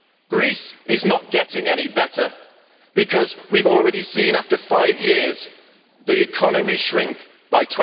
Greece is not getting any better, because we have already seen after five years the economy shrink by